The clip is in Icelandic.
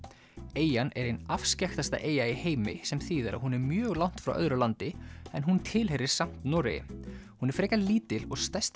eyjan er ein afskekktasta eyja í heimi sem þýðir að hún er mjög langt frá öðru landi en hún tilheyrir samt Noregi hún er frekar lítil og stærsti